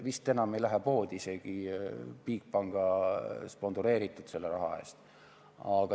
Vist enam ei läheks isegi poodi Bigbanki spondeeritud raha eest.